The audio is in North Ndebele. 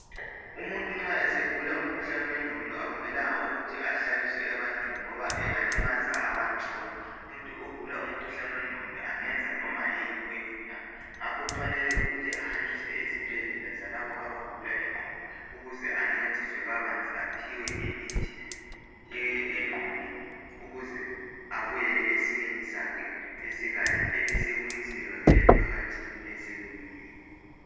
Umuntu nxa esegula umkhuhlane wengqondo akumelanga ukuthi ahlaliswe ebantwini, ngoba angalimaza abantu, ngoba umuntu ogula umkhuhlane wengqondo, angenza noba yini oyifunayo. Ngakho kufanele ukuthi ahanjiswe ezibhedlela, zalabo abagula ingqondo. Ukuze ancediswe kabanzi. Aphiwe imithi yengqondo. Ukuze abuyele esimeni sakhe esikahle. Abesebuyiselwa ke emphakathini eselungile.